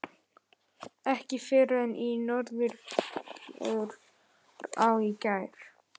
Ekki fyrr en í henni Norðurá í gær.